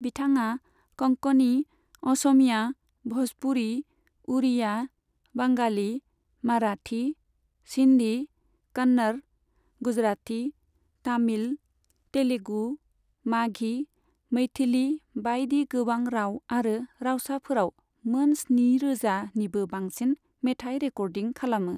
बिथाङा कंकणी, असमीया, भ'जपुरी, उड़िया, बांगाली, माराठी, सिन्धी, कन्नड़, गुजराती, तामिल, तेलुगु, माघी, मैथिली बाइदि गोबां राव आरो रावसाफोराव मोन स्निरोजा निबो बांसिन मेथाइ रेकर्डिं खालामो।